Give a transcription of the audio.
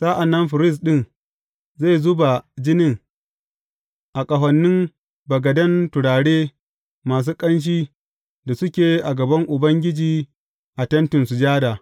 Sa’an nan firist ɗin zai zuba jinin a ƙahonin bagaden turare masu ƙanshi da suke a gaban Ubangiji a Tentin Sujada.